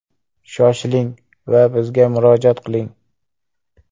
Shoshiling va bizga murojaat qiling!